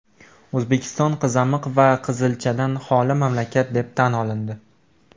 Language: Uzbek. O‘zbekiston qizamiq va qizilchadan xoli mamlakat deb tan olindi .